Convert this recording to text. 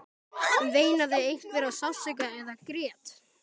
Veinaði einhver af sársauka eða grét?